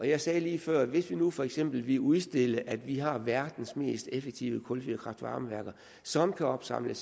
jeg sagde lige før at hvis vi nu for eksempel ville udstille at vi har verdens mest effektive kulfyrede kraft varme værker som kan opsamle